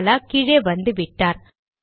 பாலா கீழே வந்துவிட்டார்